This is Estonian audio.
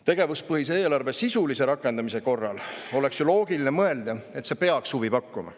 Tegevuspõhise eelarve sisulise rakendamise korral oleks ju loogiline mõelda, et see peaks huvi pakkuma.